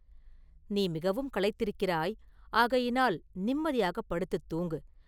“நீ மிகவும் களைத்திருக்கிறாய்; ஆகையினால் நிம்மதியாகப் படுத்துத் தூங்கு.